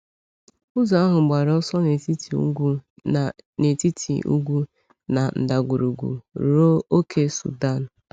Ụzọ ahụ gbara ọsọ n’etiti ugwu na n’etiti ugwu na ndagwurugwu ruo ókè Sudan.